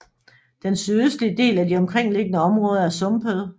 Den sydøstlige del af de omkringliggende områder er sumpede